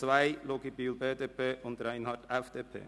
2 Luginbühl/BDP und Reinhard/FDP.